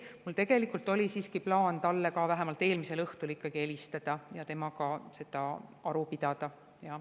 Mul tegelikult oli siiski plaan talle vähemalt eelmisel õhtul ikkagi helistada ja temaga selle üle aru pidada.